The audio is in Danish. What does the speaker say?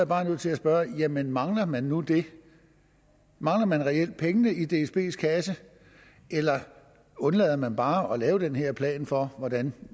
bare nødt til at spørge jamen mangler man nu det mangler man reelt pengene i dsbs kasse eller undlader man bare at lave den her plan for hvordan